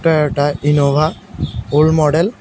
এটা একটা Innova old model.